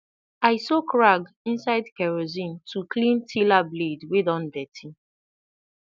i soak rag inside kerosene to clean tiller blade wey don dirty